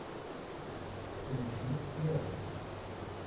включи театр